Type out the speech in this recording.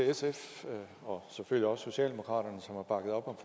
sf og selvfølgelig også til socialdemokraterne som har bakket op om